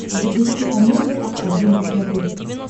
запусти амедиа один на смотрешке